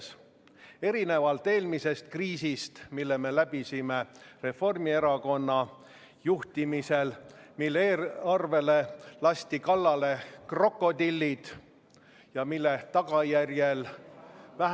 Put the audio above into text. Seda erinevalt eelmisest kriisist, mille me läbisime Reformierakonna juhtimisel, mil eelarvele lasti kallale krokodillid, mille tagajärjel vähenes meie omavalitsuste tulubaas kolmandiku võrra, tuhanded ja tuhanded ettevõtted läksid pankrotti ja kümned ja kümned tuhanded inimesed kaotasid töö.